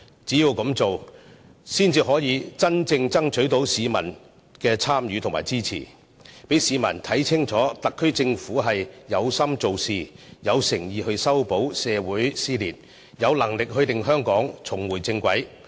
只有這樣做，才可真正爭取市民的參與和支持，讓市民看清楚特區政府有心做事，有誠意修補社會撕裂，有能力令香港重回正軌。